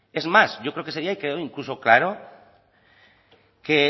es más yo creo que ese día quedó incluso claro que